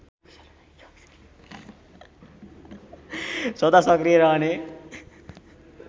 सदा सक्रिय रहने